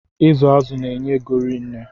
Ịzụ azụ na-enye ego rinne